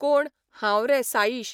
कोण हांव रे साइश.